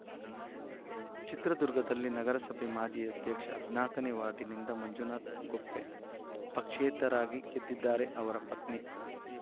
ಚಿತ್ರದುರ್ಗದಲ್ಲಿ ನಗರಸಭೆ ಮಾಜಿ ಅಧ್ಯಕ್ಷ ಹದಿನಾಕನೇ ವಾರ್ಡಿನಿಂದ ಮಂಜುನಾಥ ಗೊಪ್ಪೆ ಪಕ್ಷೇತರರಾಗಿ ಗೆದ್ದಿದ್ದರೆ ಅವರ ಪತ್ನಿ